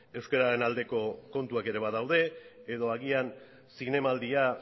euskararen aldeko kontuak ere badaude edo agian zinemaldia